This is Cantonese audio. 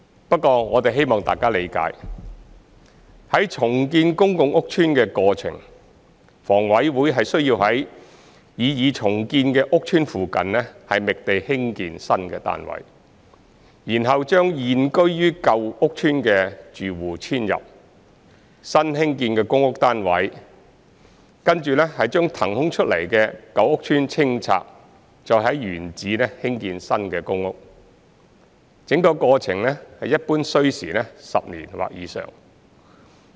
不過，我們希望大家理解，在重建公共屋邨的過程，房委會需要在擬重建的屋邨附近覓地興建新單位，然後將現居於舊屋邨的住戶遷入新興建的公屋單位，跟着將騰空出來的舊屋邨清拆，再在原址興建新公屋；整個過程一般需時10年或以上。